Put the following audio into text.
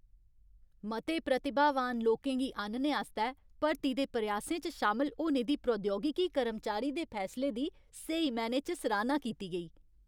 मते प्रतिभावान लोकें गी आह्नने आस्तै भर्ती दे प्रयासें च शामल होने दे प्रौद्योगिकी कर्मचारी दे फैसले दी स्हेई मैह्नें च सराह्ना कीती गेई।